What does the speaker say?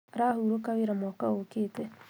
Arahurũka wĩra mwaka ũkĩte